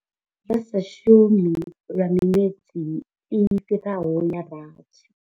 Vha sa shumi lwa miṅwedzi i fhiraho ya rathi.